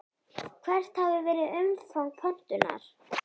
Hvert hafi verið umfang pöntunar?